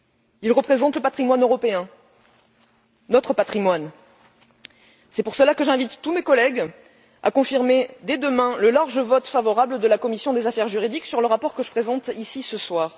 Ils représentent le patrimoine européen, notre patrimoine, c'est pour cela que j'invite tous mes collègues à confirmer dès demain le large vote favorable de la commission des affaires juridiques sur le rapport que je présente ici ce soir.